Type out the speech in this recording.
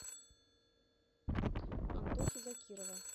антохи закирова